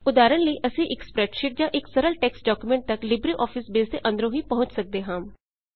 ਉਦਾਹਰਣ ਲਈ ਅਸੀਂ ਇੱਕ ਸਪ੍ਰੈਡਸ਼ੀਟ ਜਾਂ ਇੱਕ ਸਰਲ ਟੈਕਸਟ ਡਾਕੂਮੈਂਟ ਤੱਕ ਲਿਬ੍ਰੇ ਆਫਿਸ ਬੇਸ ਦੇ ਅੰਦਰੋਂ ਹੀ ਪਹੁੰਚ ਸੱਕਦੇ ਹਾਂ